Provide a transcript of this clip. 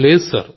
లేదు సార్